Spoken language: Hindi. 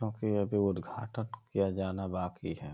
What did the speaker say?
क्योंकि अभी उद्घाटक किया जाना बाकि है।